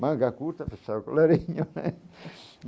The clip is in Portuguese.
Manga curta, fechar o colarinho.